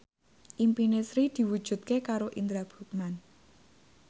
impine Sri diwujudke karo Indra Bruggman